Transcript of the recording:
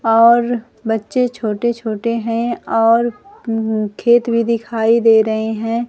और बच्चे छोटे छोटे हैं और ऊं खेत भी दिखाई दे रहे हैं।